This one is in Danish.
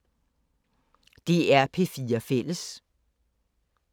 DR P4 Fælles